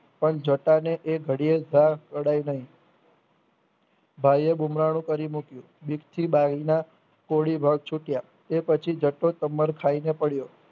પણ જટાને એ ઘડીયે ધા પડાય નહિ ભાઈએ ગુમરાણુ કરી મૂક્યું બીકથી બારીના કોળી ભાગ છૂટિયાં એ પછી તમર ખાઈને પડ્યો